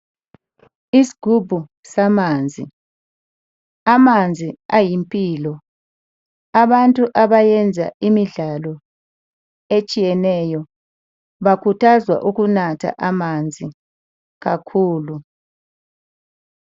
Isigubhu samanzi. Amazi ayimpilo , abantu abenza imidlalo etshiyeneyo bakhuthazwa ukunatha amanzi kakhulu.